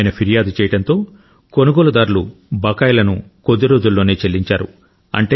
ఆయన ఫిర్యాదు చేయడంతో కొనుగోలుదారులు బకాయిలను కొద్ది రోజుల్లోనే చెల్లించారు